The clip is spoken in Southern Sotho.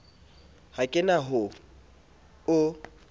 ha ke na ho o